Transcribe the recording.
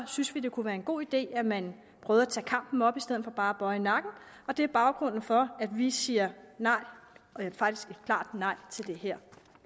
synes vi det kunne være en god idé at man prøvede at tage kampen op i stedet for bare at bøje nakken og det er baggrunden for at vi siger klart nej til det her